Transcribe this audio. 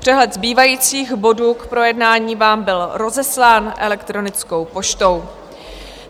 Přehled zbývajících bodů k projednání vám byl rozeslán elektronickou poštou.